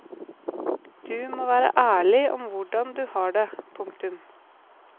Du må være ærlig om hvordan du har det. punktum